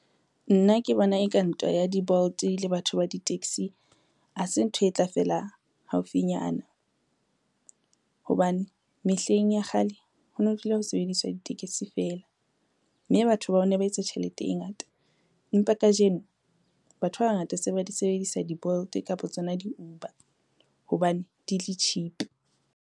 Nna ke bona eka ntwa ya di-Bolt le batho ba di-taxi, ha se ntho e tla fela haufinyana. Hobane mehleng ya kgale ho no dula ho sebediswa ditekesi fela, mme batho bao ne ba etsa tjhelete e ngata empa kajeno batho ba bangata se ba di sebedisa di-Bolt kapa tsona di-Uber hobane di le cheap.